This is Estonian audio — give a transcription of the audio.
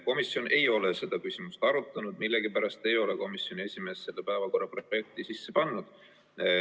Komisjon ei ole seda küsimust arutanud ja millegipärast ei ole komisjoni esimees seda päevakorrapunkti sisse pannud.